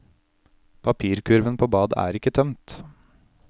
Papirkurven på badet er ikke tømt.